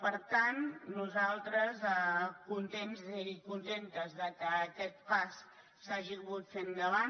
per tant nosaltres contents i contentes que aquest pas s’hagi pogut fer endavant